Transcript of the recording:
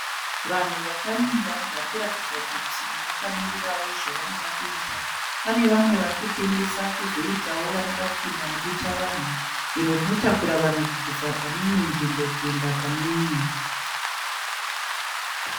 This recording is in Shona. Vanhu vakamira varikuratidza kuti vakamirirawo zvavanoda kuita, pane vamwe varikutengesa kozoitawo varikuda kupinda mudutavanhu, iro rinotakura vanhu kubvisa pane imwe nzvimbo kuenda pane imwe.